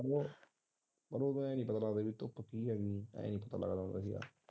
ਤੋਂ ਕਹਿ ਨਹੀਂ ਸਕਦਾ ਭਾਈ ਕਿ ਹੈਗੀ ਇਹ ਹਿੱਸਾ ਲੱਗਦਾ ਹੁੰਦਾ ਸੀ।